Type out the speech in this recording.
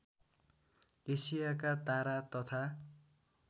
एसियाका तारा तथा